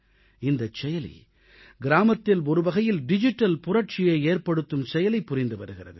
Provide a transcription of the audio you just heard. இந்தச் செயலி கிராமத்தில் ஒருவகையில் டிஜிட்டல் புரட்சியை ஏற்படுத்தும் செயலைப் புரிந்து வருகிறது